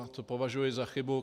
A to považuju za chybu.